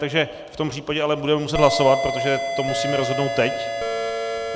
Takže v tom případě ale budeme muset hlasovat, protože to musíme rozhodnout teď.